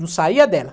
Não saía dela.